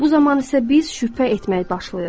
Bu zaman isə biz şübhə etməyə başlayırıq.